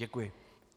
Děkuji.